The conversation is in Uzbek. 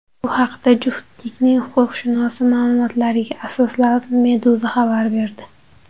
Bu haqda juftlikning huquqshunosi ma’lumotlariga asoslanib, Meduza xabar berdi .